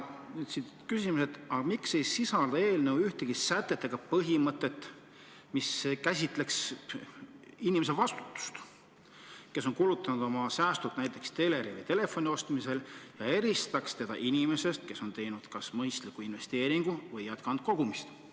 Küsimus: aga miks ei sisalda eelnõu ühtegi sätet, mis käsitleks nende inimeste vastutust, kes on kulutanud oma säästud näiteks teleri või telefoni ostmiseks, ja eristaks neid inimestest, kes on teinud kas mõistliku investeeringu või jätkanud kogumist?